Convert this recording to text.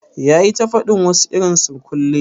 Ya yi ta fadin wasu irin surkulle?